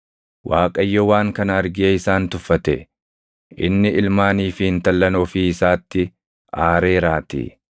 Waaqayyo waan kana argee isaan tuffate; inni ilmaanii fi intallan ofii isaatti aareeraatii.